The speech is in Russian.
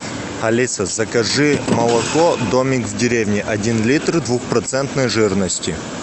алиса закажи молоко домик в деревне один литр двухпроцентной жирности